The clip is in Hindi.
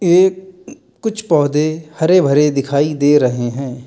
ये कुछ पौधे हरे भरे दिखाई दे रहे हैं।